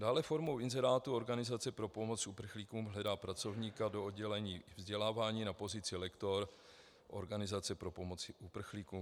Dále formou inzerátu Organizace pro pomoc uprchlíkům hledá pracovníka do oddělení vzdělávání na pozici lektor Organizace pro pomoc uprchlíkům.